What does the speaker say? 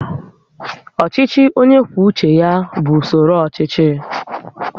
Ọchịchị onye kwuo uche ya bụ usoro ọchịchị